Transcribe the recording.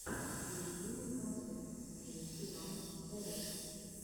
в ютубе концерт твенти ван сэвэдж